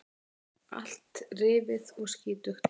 Allt rifið og skítugt.